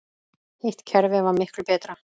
Hitt kerfið var miklu betra.